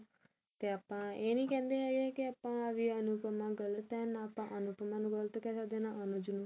ਤੇ ਆਪਾਂ ਇਹ ਨੀ ਕਹਿੰਦੇ ਹੈਗੇ ਕਿ ਆਪਾਂ ਵੀ ਅਨੁਪਮਾ ਗਲਤ ਹੈ ਨਾ ਅਨੁਜ ਨੂੰ